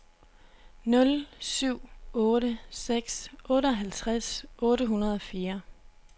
nul syv otte seks otteoghalvtreds otte hundrede og fire